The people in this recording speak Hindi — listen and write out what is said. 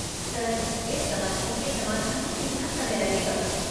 सर, इस समस्या के समाधान में कितना समय लगेगा?